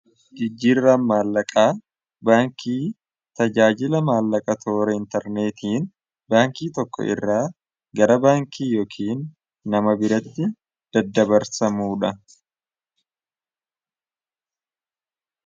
jijjiirra maallaqaa baankii tajaajila maallaqa toora intarneetiin baankii tokko irraa gara baankii yookiin nama biratti daddabarsamuudha